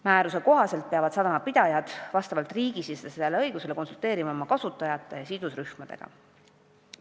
Määruse kohaselt peavad sadamapidajad vastavalt riigisisesele õigusele konsulteerima oma kasutajate ja sidusrühmadega.